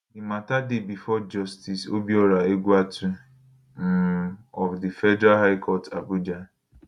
di mata dey bifor justice obiora egwuatu um of di federal high court abuja